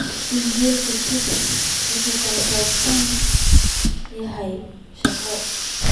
iimaylka chris wuxuu ku saabsan yahay shaqo